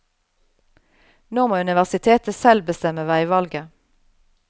Nå må universitetet selv bestemme veivalget.